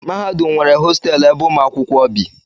mahadum nwere hostelụ ebe ụmụ akwụkwọ bi